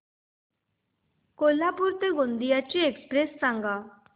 कोल्हापूर ते गोंदिया ची एक्स्प्रेस सांगा